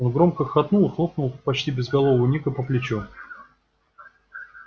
он громко хохотнул и хлопнул почти безголового ника по плечу